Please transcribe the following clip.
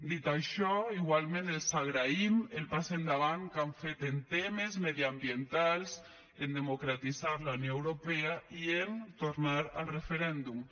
dit això igualment els agraïm el pas endavant que han fet en temes mediambientals en democratitzar la unió europea i en tornar al referèndum